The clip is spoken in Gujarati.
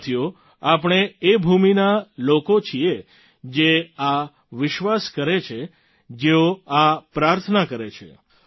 સાથીઓ આપણે એ ભૂમિના લોકો છીએ જે આ વિશ્વાસ કરે છે જેઓ આ પ્રાર્થના કરે છે